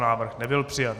Návrh nebyl přijat.